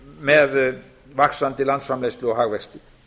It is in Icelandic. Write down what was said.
með vaxandi landsframleiðslu og hagvexti